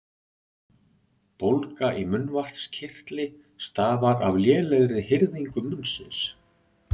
Bólga í munnvatnskirtli stafar af lélegri hirðingu munnsins.